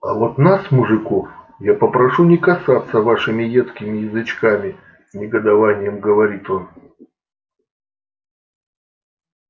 а вот нас мужиков я попрошу не касаться вашими едкими язычками негодованием говорит он